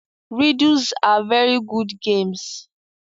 Riddles are very good games